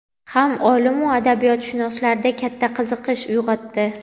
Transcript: ham olim-u adabiyotshunoslarda katta qiziqish uyg‘otdi.